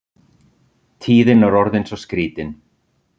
Tíðin er orðin svo skrítin.